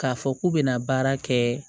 K'a fɔ k'u bɛna baara kɛ